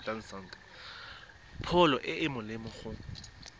pholo e e molemo go